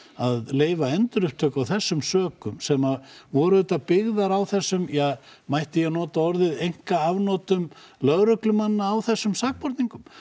að leyfa endurupptöku af þessum sökum sem voru auðvitað byggðar á þessum ja mætti ég nota einka afnotum lögreglumanna á þessum sakborningum